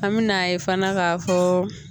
An me na ye fana ka fɔ